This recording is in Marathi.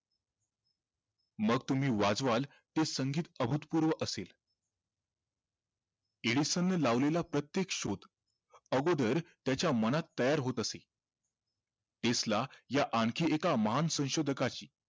मग तुम्ही वाजवालं ते संगीत अभूतपूर्व असेल एडिसन ने लावलेला प्रत्येक शोध अगोदर त्याच्या मनात तयार होत असे आणखी एका महान संशोधकाची